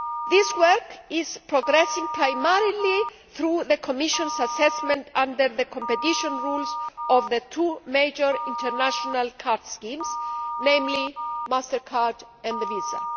This work is progressing primarily through the Commission's assessment under the competition rules of the two major international card schemes, namely MasterCard and Visa.